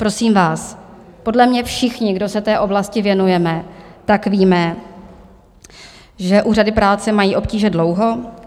Prosím vás, podle mě všichni, kdo se té oblasti věnujeme, tak víme, že úřady práce mají obtíže dlouho.